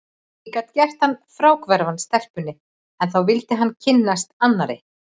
Ég gat gert hann fráhverfan stelpunni, en þá vildi hann kynnast annarri.